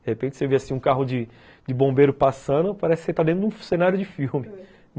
De repente você vê um carro de de bombeiro passando e parece que você está dentro de um cenário de filme.